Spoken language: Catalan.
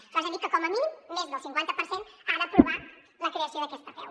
nosaltres hem dit que com a mínim més del cinquanta per cent ha d’aprovar la creació d’aquesta apeu